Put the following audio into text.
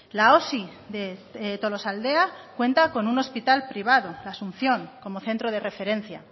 la osi de tolosaldea cuenta con un hospital privado la asunción como centro de referencia